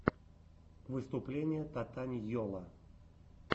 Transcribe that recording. выступление татаньйолла